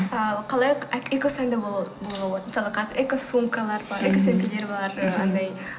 ал қалай экосәнді болуға болады мысалы қазір экосумкалар бар экосөмкелер бар анадай